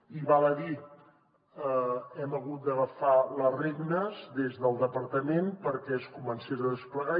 i val a dir hem hagut d’agafar les regnes des del departament perquè es comencés a desplegar